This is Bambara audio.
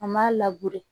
An m'a